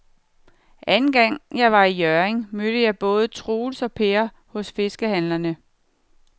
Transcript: Anden gang jeg var i Hjørring, mødte jeg både Troels og Per hos fiskehandlerne.